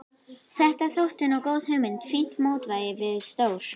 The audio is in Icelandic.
Þetta þótti nú góð hugmynd, fínt mótvægi við stór